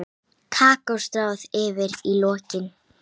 Kakó stráð yfir í lokin.